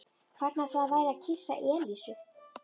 Hvernig ætli það væri að kyssa Elísu?